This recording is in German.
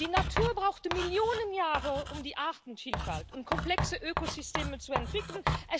Die Natur brauchte Millionen Jahre, um die Artenvielfalt und komplexe Ökosysteme zu entwickeln.